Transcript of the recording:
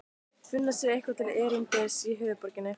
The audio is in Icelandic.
Finna sér eitthvað til erindis í höfuðborginni?